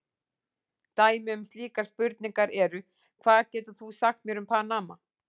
Dæmi um slíkar spurningar eru: Hvað getur þú sagt mér um Panama?